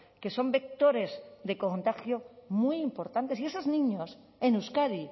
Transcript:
que son vectores de contagio muy importantes y esos niños en euskadi